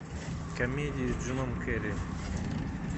комедии с джимом керри